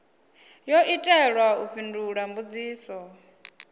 yo itelwa u fhindula mbudziso